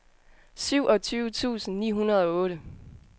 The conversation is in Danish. syvogtyve tusind ni hundrede og otte